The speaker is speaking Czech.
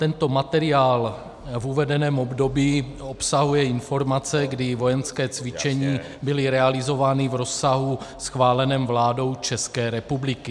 Tento materiál v uvedeném období obsahuje informace, kdy vojenská cvičení byla realizována v rozsahu schváleném vládou České republiky.